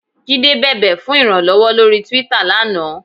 Jídé bẹ̀bẹ̀ fún ìrànlọ́wọ́ lórí Twitter lánàá.